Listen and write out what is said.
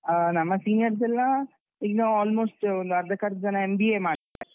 ಆಹ್ ನಮ್ಮ seniors ಎಲ್ಲಾ ಈಗ almost ಒಂದು ಅರ್ಧಕರ್ಧ ಜನ MBA ಮಾಡ್ತಿದ್ದಾರೆ.